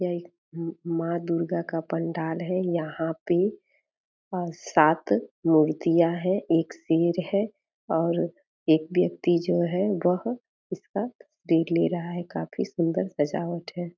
यह एक माँ दुर्गा का पंडाल है यहाँ पे सात मूर्तियां है एक सिर है और एक व्यक्ति जो है वह इसका तस्वीर ले रहा है काफी सुन्दर सजावट है।